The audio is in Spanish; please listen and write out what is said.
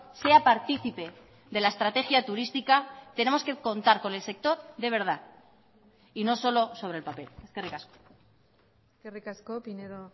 sea partícipe de la estrategia turística tenemos que contar con el sector de verdad y no solo sobre el papel eskerrik asko eskerrik asko pinedo